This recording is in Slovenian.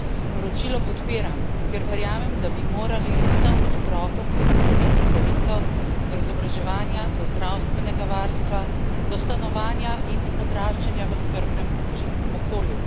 Poročilo podpiram, ker verjamem, da bi morali vsem otrokom zagotoviti pravico do izobraževanja, do zdravstvenega varstva, do stanovanja in odraščanja v skrbnem družinskem okolju.